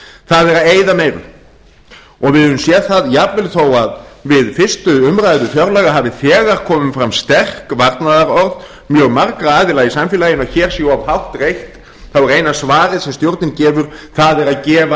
það er að eyða meira og við höfum séð það að jafnvel við fyrstu umræðu fjárlaga hafi þegar komið fram sterkt varnaðarorð mjög margra aðila í samfélaginu að hér sé of hátt reitt þá er eina svarið sem stjórnin gefur það er að gefa